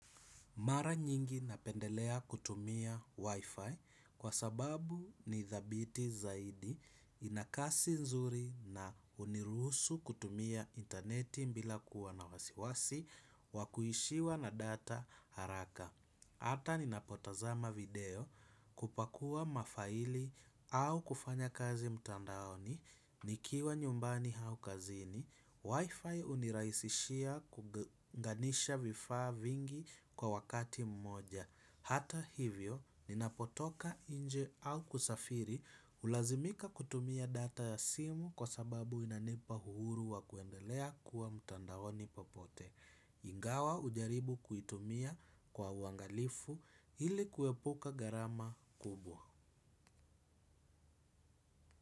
Mara nyingi napendelea kutumia wifi kwa sababu ni thabiti zaidi inakasi nzuri na huniruhusu kutumia interneti bila kuwa na wasiwasi wakuishiwa na data haraka. Hata ninapotazama video kupakua mafaili au kufanya kazi mtandaoni, nikiwa nyumbani au kazini, wifi unirahisishia kuunganisha vifaa vingi kwa wakati mmoja. Hata hivyo, ninapotoka nje au kusafiri, ulazimika kutumia data ya simu kwa sababu inanipa uhuru wa kuendelea kuwa mtandaoni popote. Ingawa ujaribu kuitumia kwa uangalifu ili kuepuka garama kubwa.